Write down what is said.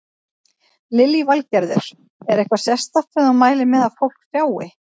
Lillý Valgerður: Er eitthvað sérstakt sem þú mælir með því að fólk sjái?